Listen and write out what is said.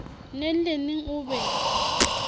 neng le neng o be